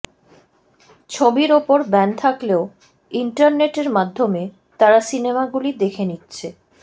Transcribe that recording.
ছবির ওপর ব্যান থাকলেও ইন্টারনেটের মাধ্যমে তারা সিনেমাগুলি দেখে নিচ্ছে